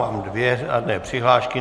Mám dvě řádné přihlášky.